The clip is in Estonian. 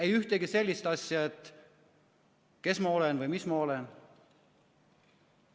Ei ühtegi sellist asja, kes ma olen või mis ma olen.